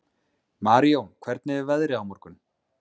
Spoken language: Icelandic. Marijón, hvernig er veðrið á morgun?